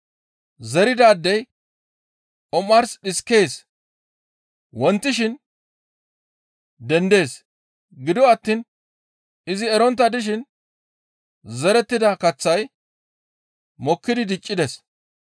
Zeridaadey omars dhiskees. Wontishin dendees; gido attiin izi erontta dishin zerettida kaththay mokkidi diccees.